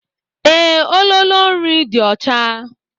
Ee, ololo nri dị ọcha.